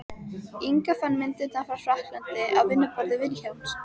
Inga fann myndirnar frá frakklandi á vinnuborði Vilhjálms.